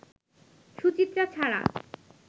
সুচিত্রা ছাড়া